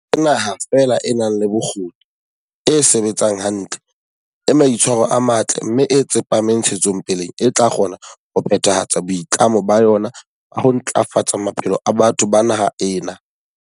Ke naha feela e nang le bokgoni, e sebetsang hantle, e maitshwaro a matle mme e tsepameng ntshetsopeleng e tla kgona ho phethahatsa boitlamo ba yona ba ho ntla fatsa maphelo a batho ba naha ena.